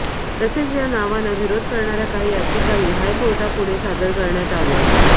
तसेच या नावांना विरोध करणाऱ्या काही याचिकाही हायकोर्टापुढे सादर करण्यात आल्यात